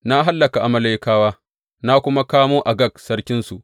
Na hallaka Amalekawa, na kuma kamo Agag sarkinsu.